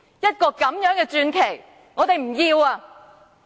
一個這樣的傳奇，我們不要！